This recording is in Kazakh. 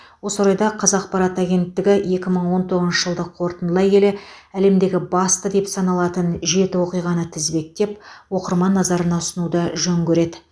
осы орайда қазақпарат агенттігі екі мың он тоғызыншы жылды қорытындылай келе әлемдегі басты деп саналатын жеті оқиғаны тізбектеп оқырман назарына ұсынуды жөн көреді